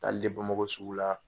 Taa Hale de Bamakɔ sugu la